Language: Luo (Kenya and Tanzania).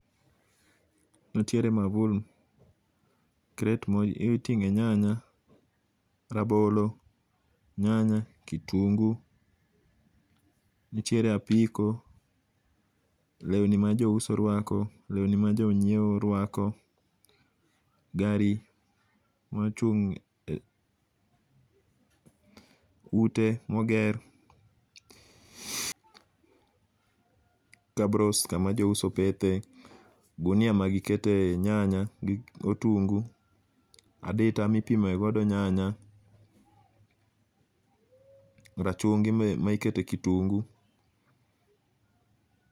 Ntiere maua, kret ma iting'e nyanya, rabolo, nyanya , kitungu .Nitiere apiko, lewni ma jouso rako lewni ma jonyiewo rwako gari mochung' e , ute moger, kabros kama jouso pethe ,gunia ma gikete nyanya gi otungu, adita mipime godo nyanya , rachungi mi ma ikete kitungu.